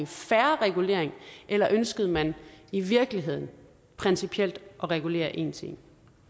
fair regulering eller ønskede man i virkeligheden principielt at regulere en til en